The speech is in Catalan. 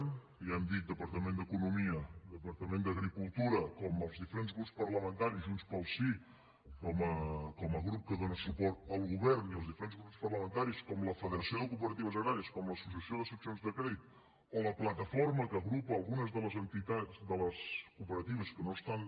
ja ho hem dit departament d’economia departament d’agricultura com als diferents grups parlamentaris junts pel sí com a grup que dóna suport al govern i els diferents grups parlamentaris com a la federació de cooperatives agràries com a l’associació de seccions de crèdit o a la plataforma que agrupa algunes de les entitats de les cooperatives que no estan